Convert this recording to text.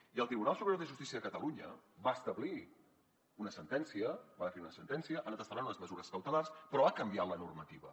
i el tribunal superior de justícia de catalunya va establir una sentència va fer una sentència en la que ha establert unes mesures cautelars però ha canviat la normativa